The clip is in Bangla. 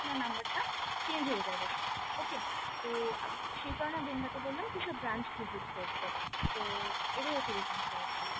number টা change হয়ে যাবে sir okay তো সেই কারনে আমি আপনাকে বললাম কি sir branch visit করতে তো এটাই হচ্ছে reason sir actually